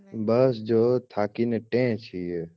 બસ જો થાકીને ટેહ છીએ